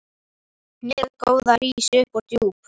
Hnéð góða rís upp úr djúp